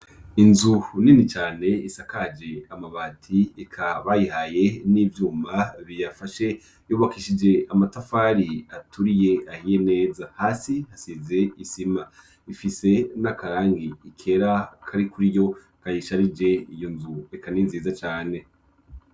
Inzu nini cane isakaje amabati eka bayihaye n'ivyuma biyafashe yubakishije amatafari aturiye ahiye neza hasi hasize isima ifise n'akarangi ikera kari kuri yo kayisharije iyo nzu ekani nziza cane.